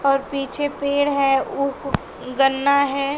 और पीछे पेड़ है गन्ना है।